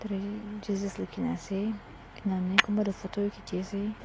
Jesus likhina ase enahoine kunba toh photo bi khichiase.